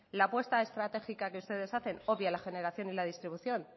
la apuesta estratégica que ustedes hacen obvia la generación y la distribución